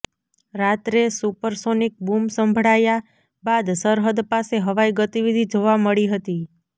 રાત્રે supersonic boom સંભળાયા બાદ સરહદ પાસે હવાઈ ગતિવિધિ જોવા મળી હતી